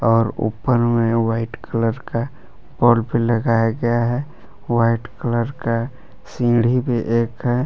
और ऊपर में व्हाइट कलर का बल्ब भी लगाया गया है। व्हाइट कलर का सीढ़ी भी एक है।